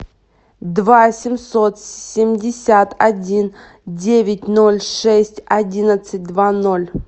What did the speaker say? два семьсот семьдесят один девять ноль шесть одиннадцать два ноль